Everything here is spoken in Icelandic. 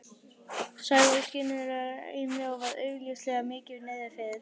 Sævar skyndilega í mig og var augljóslega mikið niðri fyrir.